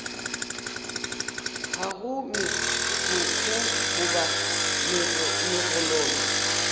ga go megokgo goba megololo